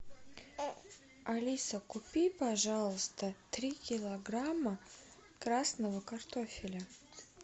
алиса купи пожалуйста три килограмма красного картофеля